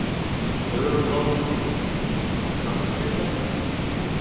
Hugrún Halldórsdóttir: Kannist við þetta?